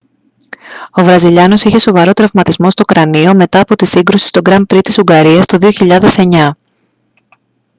ο βραζιλιάνος είχε σοβαρό τραυματισμό στο κρανίο μετά από τη σύγκρουση στο γκραν πρι στην ουγγαρίας το 2009